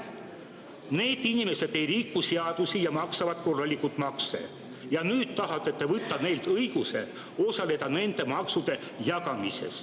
Need inimesed ei riku seadusi ja maksavad korralikult makse, aga nüüd tahate te võtta neilt õiguse osaleda nende maksude jagamises.